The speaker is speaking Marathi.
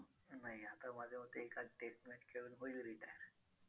नाही आता माझ्या मते एखादी test match खेळून होईल retire